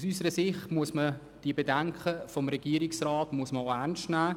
Aus unserer Sicht muss man die Bedenken des Regierungsrats ernst nehmen.